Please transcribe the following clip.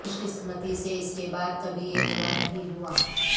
خوش قسمتی سے اس کے بعد کبھی یہ برا نہیں ہوا